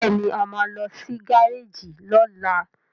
Béèni a má ló sì Gáréèjì lola.